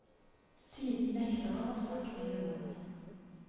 Siden nekter han å snakke med noen.